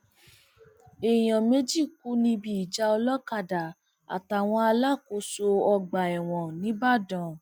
èèyàn méjì kú níbi ìjà olókàdá àtàwọn alákòóso ọgbà ẹwọn nìbàdàn